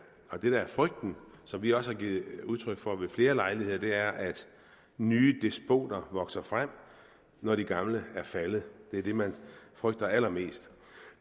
det der er frygten som vi også har givet udtryk for ved flere lejligheder er at nye despoter vokser frem når de gamle er faldet det er det man frygter allermest